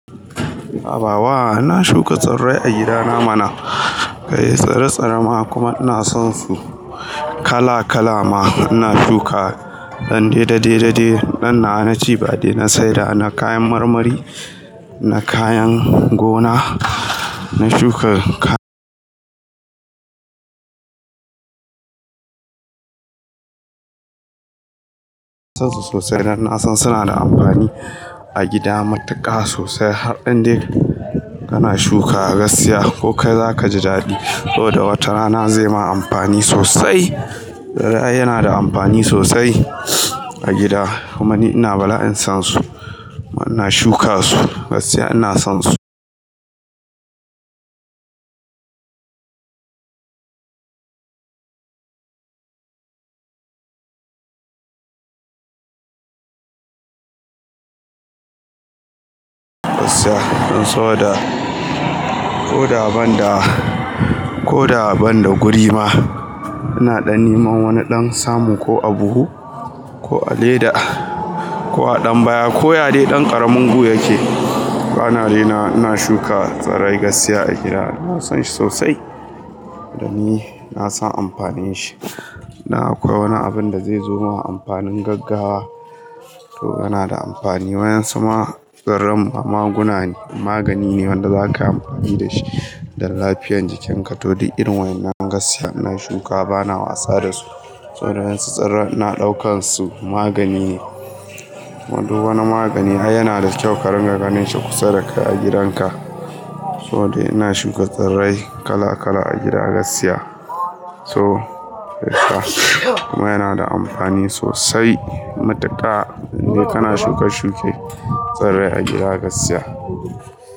Habawa ina shuka tsirrai a gidana mana. Kai tsiri-tsire ma kuma ina son su kala-kala ma. Ina shuka ɗan dede, dade, dede dai. Nan na, na cibade, ba dai na saida, na kayan marmari, na kayan gona, na shuka ka son su sosai. Dan na san suna da amfani a gida matuƙa sosai har ɗan dai kana shuka a gaskiya ko kai za ka ji daɗi. Sabo da watarana zai ma amfani sosai. Tsirrai yana da amfani sosai a gida kuma ni ina bala'in son su. Ina shuka su gaskiya ina son su gaskiya. In saboda ko daban da, ko daban da guri ma, ina ɗan neman wani ɗan samu ko a buhu ko a leda ko a ɗan baya ko ya dai ɗan ƙaramin gu yake. Bana raina wa ina shuka tsirrai gaskiya a gida. Ina son shi sosai da ni na san amfanin shi. Na akwai wani abin da zai zo ma amfanin gaggawa. To yana da amfani. Wayan su ma tsirran ma maguna ne, magani ne wanda za ka yi amfani da shi da lafiyar jikinka. To duk irin wayen nan gaskiya ina shuka bana wasa da su. Sabo da wayensu tsirrai ina ɗaukan su magani ne. Kuma duk wani magani, ai yana da kyau ka rinƙa ganin shi kusa da kai a gidanka. To dai ina shuka tsirrai kala-kala a gida gaskiya. To, kuma yana da amfani sosai matuƙa in dai kana shuka shuke tsirrai a gida a gaskiya.